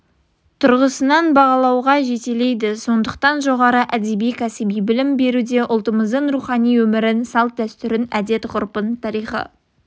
тұрғысынан бағалауға жетелейді сондықтан жоғары әдеби кәсіби білім беруде ұлтымыздың рухани өмірін салт-дәстүрін әдет-ғұрпын тарихи